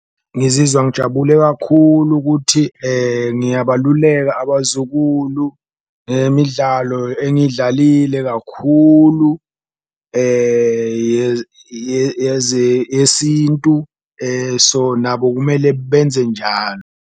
Ngizizwa ngijabule kakhulu ukuthi ngiyabaluleka abazukulu ngemidlalo engiyidlalile kakhulu yesintu so, nabo kumele benze njalo.